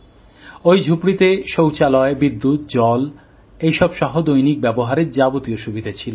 ওই ঝুপড়িতে শৌচালয়বিদ্যুৎজলসহ দৈনিক ব্যবহারের যাবতীয় সুবিধা ছিল